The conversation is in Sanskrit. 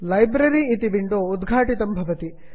लाइब्रेरी लैब्ररि इति विण्डो उद्घाटितं भवति